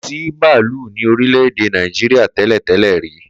Ko si baalu ni orílé édé Naijria tẹlẹ-tẹlẹ ri.